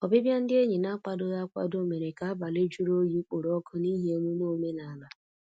Ọbịbịa ndị enyi n'akwadoghị akwado mèrè ka abalị jụrụ oyi kporo ọkụ n'ihi emume omenala.